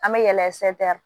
An bɛ yɛlɛn